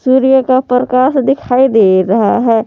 सूर्य का परकाश दिखाई दे रहा है।